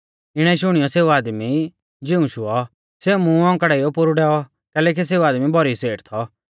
इणै शुणियौ सेऊ आदमी ज़िऊंशुऔ सेऊ मुं औंकड़ाइयौ पोरु डैऔ कैलैकि सेऊ आदमी भौरी सेठ थौ